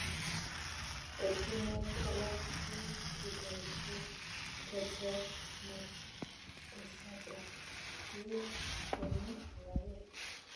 Ottunwek alaak che kibaishe keteer matkosata chii komii alaage